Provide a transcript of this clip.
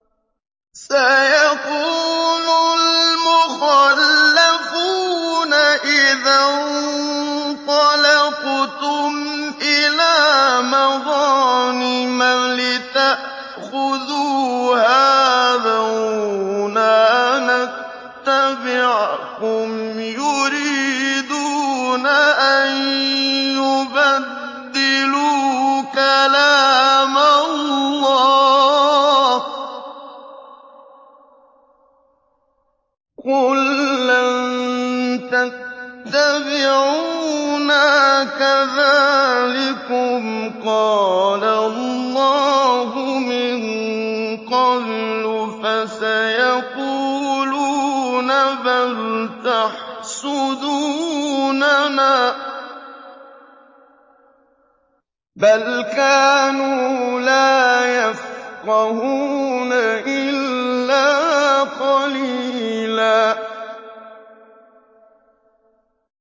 سَيَقُولُ الْمُخَلَّفُونَ إِذَا انطَلَقْتُمْ إِلَىٰ مَغَانِمَ لِتَأْخُذُوهَا ذَرُونَا نَتَّبِعْكُمْ ۖ يُرِيدُونَ أَن يُبَدِّلُوا كَلَامَ اللَّهِ ۚ قُل لَّن تَتَّبِعُونَا كَذَٰلِكُمْ قَالَ اللَّهُ مِن قَبْلُ ۖ فَسَيَقُولُونَ بَلْ تَحْسُدُونَنَا ۚ بَلْ كَانُوا لَا يَفْقَهُونَ إِلَّا قَلِيلًا